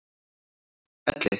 Elli